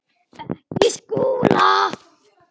Ekki Skúla!